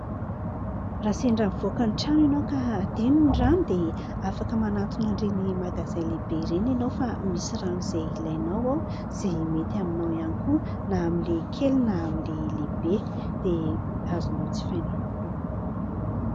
Raha sendra mivoaka ny trano ianao ka adino ny rano, dia afaka manatona an'ireny magazay lehibe ireny ianao fa misy rano izay ilainao ao ; izay mety aminao ihany koa na amin'ilay kely, na amin'ilay lehibe, dia azonao jifaina avokoa.